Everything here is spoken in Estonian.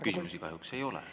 Küsimusi kahjuks ei ole.